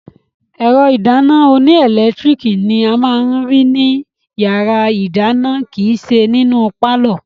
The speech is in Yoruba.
Ẹ̀rọ ìdáná oníẹlẹtíríkì ni a máa ní rí ní yàrá-ìdáná kìíse nínú pálọ̀